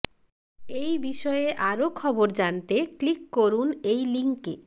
এই বিষয়ে আরও খবর জানতে ক্লিক করুন এই লিঙ্কে